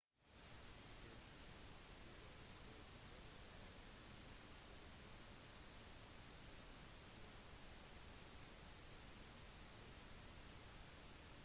det ser ut til at det heller er en måte å lure mennesker på til få dem til å tro at de må betale mer penger